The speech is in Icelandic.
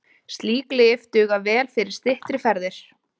Slík lyf duga vel fyrir styttri ferðir.